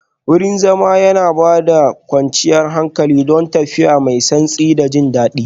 Wurin zama yana ba da kwanciyar hankali, don tafiya mai santsi da jin daɗi